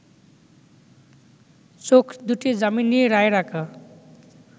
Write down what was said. চোখ দুটি যামিনী রায়ের আঁকা